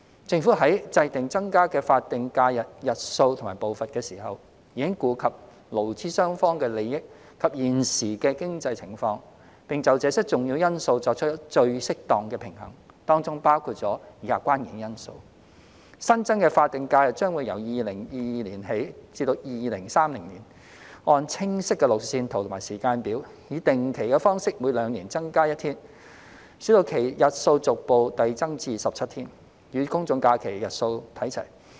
政府在制訂增加的法定假日日數和步伐時，已顧及勞資雙方的利益及現時的經濟情況，並就這些重要因素作出最適當的平衡，當中包括以下關鍵因素：新增的法定假日將會由2022年起至2030年，按清晰的路線圖和時間表，以定期的方式每兩年增加一天，使其日數逐步遞增至17天，與公眾假期日數看齊。